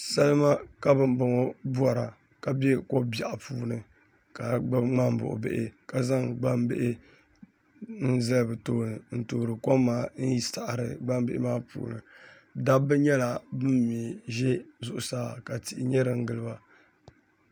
Salima ka bin boŋo bora ka bɛ ko biɛɣu puuni ka gbubi ŋmani buɣu bihi ka zaŋ gbambihi n zali bi tooni n toori kom n saɣari gbambihi maa puuni dabba nyɛla bin mii ʒɛ zuɣusaa ka tihi nyɛ din giliba